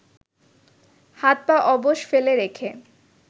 হাত পা অবশ ফেলে রেখে